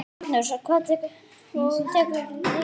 Magnús: Og tekur lýsi?